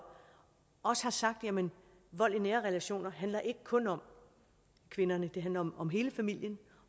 også har sagt jamen vold i nære relationer handler ikke kun om kvinderne det handler om om hele familien